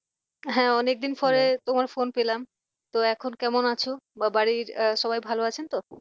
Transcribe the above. হ্যাঁ অনেকদিন পরে তোমার phone পেলাম তো এখন কেমন আছো বা বাড়ির সবাই ভালো আছেন তো?